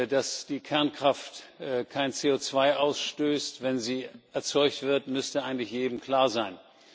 Dass die Kernkraft kein CO2 ausstößt, wenn sie erzeugt wird, müsste eigentlich jedem klar sein.